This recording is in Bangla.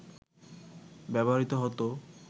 ব্যবহৃত হতো